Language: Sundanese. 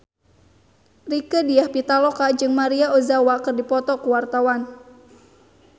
Rieke Diah Pitaloka jeung Maria Ozawa keur dipoto ku wartawan